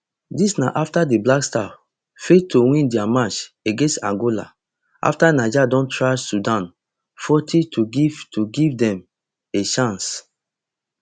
dis na afta di blackstars fail to win dia match against angola afta niger don thrash sudan forty to give to give dem a chance